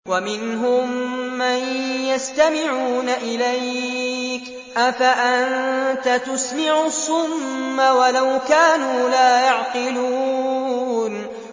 وَمِنْهُم مَّن يَسْتَمِعُونَ إِلَيْكَ ۚ أَفَأَنتَ تُسْمِعُ الصُّمَّ وَلَوْ كَانُوا لَا يَعْقِلُونَ